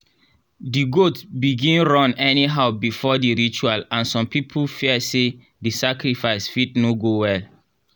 the goat begin run anyhow before the ritual and some people fear say the sacrifice fit no go well.